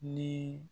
Ni